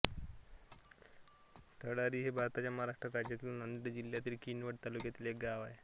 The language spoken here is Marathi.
तळ्ळारी हे भारताच्या महाराष्ट्र राज्यातील नांदेड जिल्ह्यातील किनवट तालुक्यातील एक गाव आहे